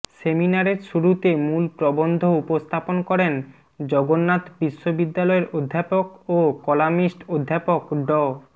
সেমিনারের শুরুতে মূল প্রবন্ধ উপস্থাপন করেন জগন্নাথ বিশ্ববিদ্যালয়ের অধ্যাপক ও কলামিস্ট অধ্যাপক ড